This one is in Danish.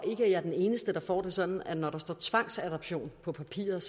jeg er den eneste der får det sådan at når der står tvangsadoption på papiret